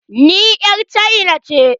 Ni 'yar cina ce.